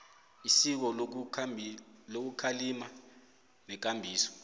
isiko lokukhalima nekambiso